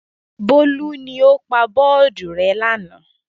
Bólú ni ó pa bọ́ọ́dù rẹ́ lánàá.